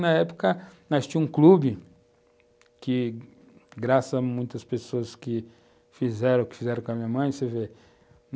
Na época, tínhamos um clube, que graças a muitas pessoas que fizeram o que fizeram com a minha mãe, você ver,